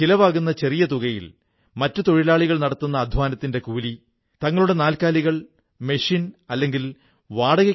അതേസമയം ചണ്ഡീഗഢിൽ ഒരു സർക്കാരേതര സംരംഭം നടത്തുന്ന സന്ദീപ് കുമാർജി ഒരു മിനി വാനിലാണ് മൊബൈൽ ലൈബ്രറി ഉണ്ടാക്കിയിരിക്കുന്നത്